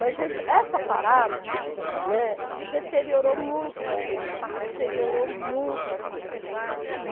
Mas esse essa parada, né, deteriorou muito o material, deteriorou muito as coisas.